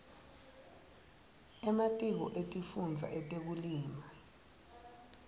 ematiko etifundza etekulima